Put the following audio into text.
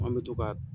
An bɛ to ka